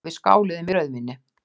Og við skálum í rauðvíni.